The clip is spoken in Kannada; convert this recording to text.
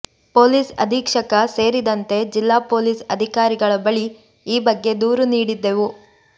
ಪೊಲೀಸ್ ಅಧೀಕ್ಷಕ ಸೇರಿದಂತೆ ಜಿಲ್ಲಾ ಪೊಲೀಸ್ ಅಧಿಕಾರಿಗಳ ಬಳಿ ಈ ಬಗ್ಗೆ ದೂರು ನೀಡಿದ್ದೆವು